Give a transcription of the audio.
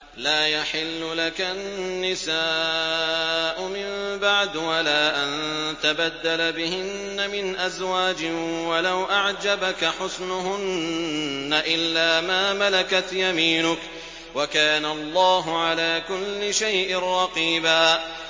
لَّا يَحِلُّ لَكَ النِّسَاءُ مِن بَعْدُ وَلَا أَن تَبَدَّلَ بِهِنَّ مِنْ أَزْوَاجٍ وَلَوْ أَعْجَبَكَ حُسْنُهُنَّ إِلَّا مَا مَلَكَتْ يَمِينُكَ ۗ وَكَانَ اللَّهُ عَلَىٰ كُلِّ شَيْءٍ رَّقِيبًا